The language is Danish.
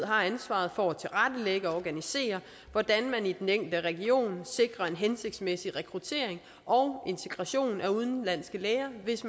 har ansvaret for at tilrettelægge og organisere hvordan man i den enkelte region sikrer en hensigtsmæssig rekruttering og integration af udenlandske læger hvis